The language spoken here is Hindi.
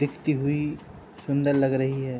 दिखती हुई सुंदर लग रही है।